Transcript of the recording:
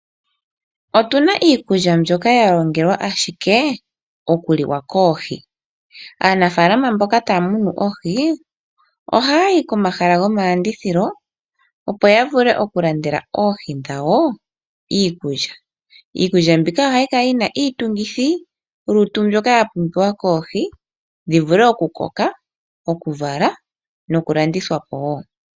Otuna iikulya ndjoka ya longelwa ashike okuliwa koohi. Aanafalama mbono taamunu oohi ohayayi komahala gomalandithilo opo ya vule okulandela oohi dhawo iikulya. Iikulya mbika oha yi kala yina iitungithilutu ndjoka yapumbiwa koohi dhivule okukoka, okuvala nokulandithwapo woo.